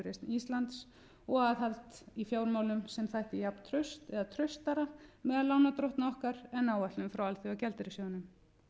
íslands og aðhald í fjármálum sem þætti jafntraust eða traustara meðal lánardrottna okkar en áætlun frá alþjóðagjaldeyrissjóðnum